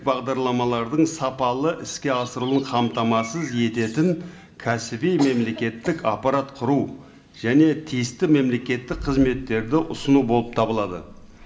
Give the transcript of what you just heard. бағдарламалардың сапалы іске асырылуын қамтамасыз ететін кәсіби мемлекеттік аппарат құру және тиісті мемлекеттік қызметтерді ұсыну болып табылады